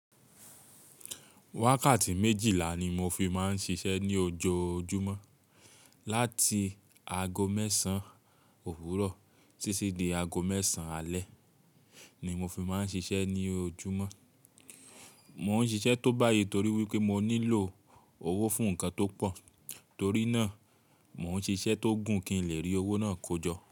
Wákàtí méjìlá ni mo fi máa ń ṣiṣẹ́ ní ojoojúmọ́. Láti ago mẹ́sàn-án òwúrọ̀ títí di ago mẹ́sàn-án alẹ́ ni mo fi máa ń ṣiṣẹ́ ní ojúmọ́. Mo ń ṣiṣẹ́ tó bá yẹ torí wípé mo nílò owó fún ǹkan tó pọ̀. Torí náà, mo ń ṣiṣẹ́ tó gùn kí n lè rí owó náà kójọ.